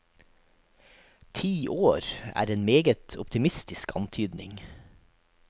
Ti år er en meget optimistisk antydning.